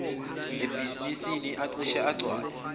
ebhizinisi acishe agcwale